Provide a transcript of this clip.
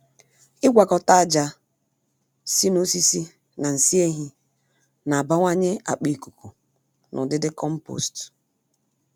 Ịgwakọta aja si n'osisi na nsị ehi n'abawanye akpa ikuku na udidi compost.